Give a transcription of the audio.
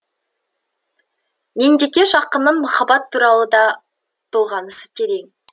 меңдекеш ақынның махаббат туралы да толғанысы терең